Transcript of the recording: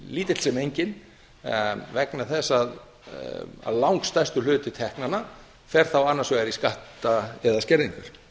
lítill sem enginn vegna þess að langstærsti hluti teknanna fer þá annars vegar í skatta eða skerðingar